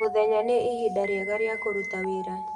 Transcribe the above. Mũthenya nĩ ihinda rĩega rĩa kũruta wĩra.